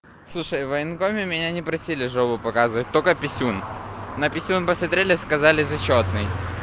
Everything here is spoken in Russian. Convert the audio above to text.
слушай в военкоме меня не просили жопу показывать только писюн на писюн посмотрели сказали зачётный